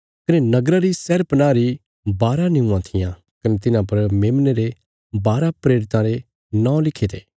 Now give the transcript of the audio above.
कने नगरा री शहरपनाह री बारा निऊंआं थिआं कने तिन्हां पर मेमने रे बारा प्रेरितां रे नौं लिखे थे